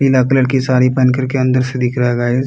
पीले कलर के सारी पहन करके अंदर से दिख रहा है गाइस --